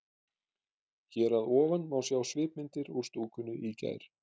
Hér að ofan má sjá svipmyndir úr stúkunni í gær.